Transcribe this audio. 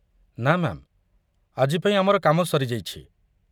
ନା ମ୍ୟା'ମ୍, ଆଜି ପାଇଁ ଆମର କାମ ସରି ଯାଇଛି।